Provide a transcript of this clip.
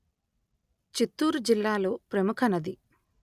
చిత్తూరు జిల్లాలో ప్రముఖ నది